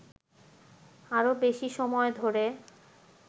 আরো বেশি সময় ধরে